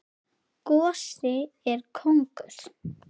Gosi og kóngur.